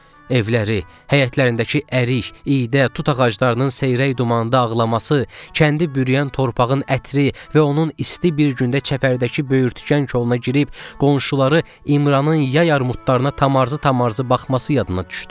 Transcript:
Evləri, həyətlərindəki ərik, iydə, tut ağaclarının seyrək dumanda ağlaması, kəndi bürüyən torpağın ətri və onun isti bir gündə çəpərdəki böyürtkən koluna girib qonşuları İmranın yay armudlarına tamarzı-tamarzı baxması yadına düşdü.